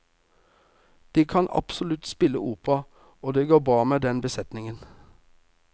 De kan absolutt spille opera, og det går bra med den besetningen.